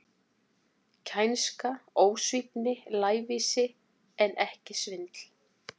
Kænska, ósvífni, lævísi, en ekki svindl.